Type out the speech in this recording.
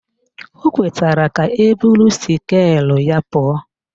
O kwetara ka eburu skeelụ ya pụọ